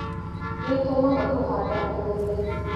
Nĩtũmaga kũhanda kũhũthe